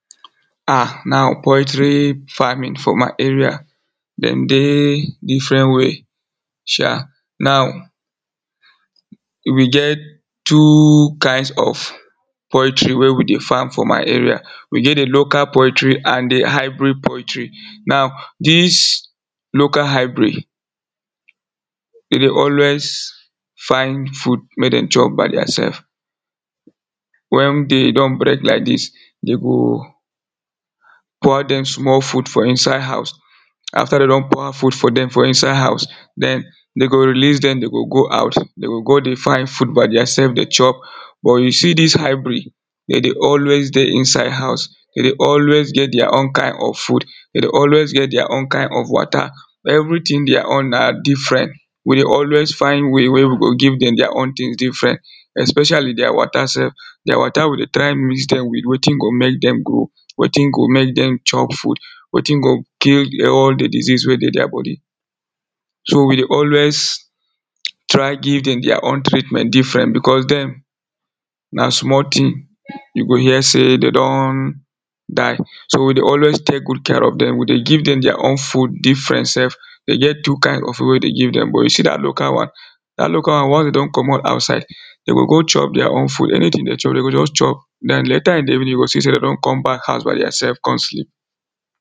um now poultry farming for my area, dem dey different way um. Now we get two kinds of poultry wey we dey farm for my area. We get di local poultry and di hybrid poultry. Now dis local hybrid Dem dey always find food make dem chop by theirself. Wen day don break like dis dem go pour dem small food for inside house. After dem don pour food for dem for inside house, den dem go release dem, dem go go out, dem go go dey find food by theirself dey chop but you see dis hybrid dem dey always dey inside house, dem dey always get their own kind of food, dem dey always get their own kind of water. Everything their own na different we dey always find way wey go give dem their own things different especially their water sef, their water we dey try mix dem with wetin go make dem grow, wetin go make dem chop food, wetin go kill all di disease wey dey their body so we dey always try give dem their own treatment different because dem na small thing you go hear sey dem don die. So we dey always take good care of dem, we dey give dem their own food different sef. dey get two kind of food wey we dey give dem but you see dat local one dat local one once dem don comot outside, dem go go chop their own food anything dem chop dem go just chop den later in di evening you go see dem don come back house by theirself come sleep